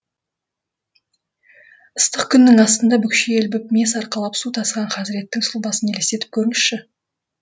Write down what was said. ыстық күннің астында бүкшие ілбіп мес арқалап су тасыған хазіреттің сұлбасын елестетіп көріңізші